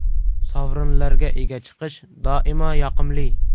Sovrinlarga ega chiqish doimo yoqimli.